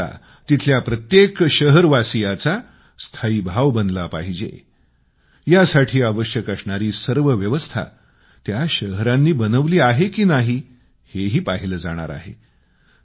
स्वच्छता तिथल्या प्रत्येक शहरवासियाचा स्थायीभाव बनला पाहिजे यासाठी आवश्यक असणारी सर्व व्यवस्था त्या शहरांनी बनवली आहे की नाही हेही पाहिलं जाणार आहे